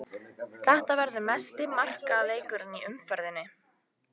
Þetta verður mesti markaleikurinn í umferðinni.